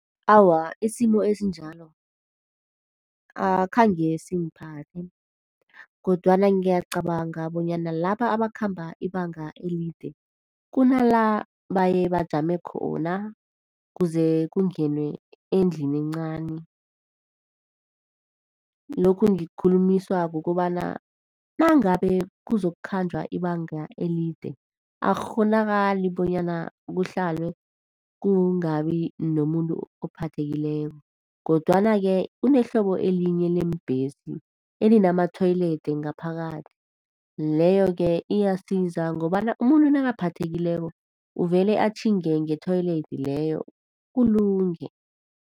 Awa, isimo esinjalo akhange singiphathe. Kodwana ngiyacabanga bonyana laba abakhamba ibanga elide, kunala bayebajame khona kuze kungenwe endlini encani. Lokhu ngikukhulumiswa kukobana nangabe kuzokukhatjhwa ibanga elide, akukghonakali bonyana kuhlalwe kungabi nomuntu ophathekileko. Kodwana-ke kunehlobo elinye leembhesi elinama-toilet ngaphakathi. Leyoke iyasiza ngobana umuntu nakaphathekileko uvele atjhinge nge-toilet leyo kulunge.